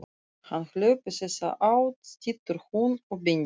Hann hljóp í þessa átt, stynur hún og bendir.